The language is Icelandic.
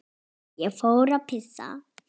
Ég fór að pissa.